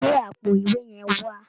Gbé àpò ìwé yẹn wá